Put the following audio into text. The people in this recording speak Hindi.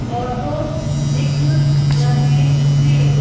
ऑटो दिख रहे हैं।